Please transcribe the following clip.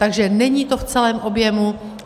Takže není to v celém objemu.